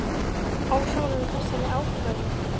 Ósammála þessari ákvörðun?